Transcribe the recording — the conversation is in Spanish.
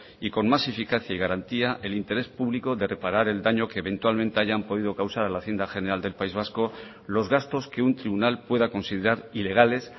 y con más eficacia y garantía el interés público de reparar el daño que eventualmente hayan podido causar a la hacienda general del país vasco los gastos que un tribunal pueda considerar ilegales